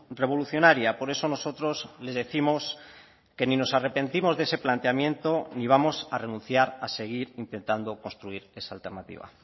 revolucionaria por eso nosotros les décimos que ni nos arrepentimos de ese planteamiento ni vamos a renunciar a seguir intentando construir es alternativa